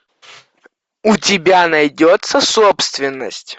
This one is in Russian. у тебя найдется собственность